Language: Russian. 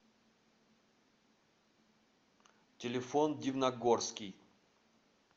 телефон дивногорский